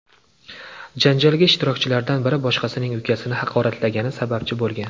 Janjalga ishtirokchilardan biri boshqasining ukasini haqoratlagani sababchi bo‘lgan.